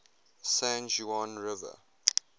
san juan river